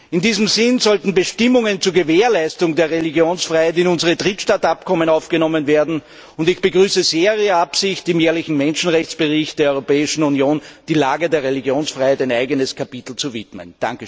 In diesem Sinn sollten Bestimmungen zur Gewährleistung der Religionsfreiheit in unsere Drittstaatenabkommen aufgenommen werden, und ich begrüße Ihre Absicht sehr, im jährlichen Menschenrechtsbericht der Europäischen Union der Lage der Religionsfreiheit ein eigenes Kapitel zu widmen.